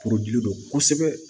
don kosɛbɛ